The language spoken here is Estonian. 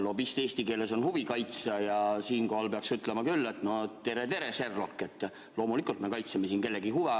Lobist eesti keeles on huvi kaitsja ja siinkohal peaks ütlema küll, et no tere-tere, Sherlock, loomulikult me kaitseme siin kellegi huve.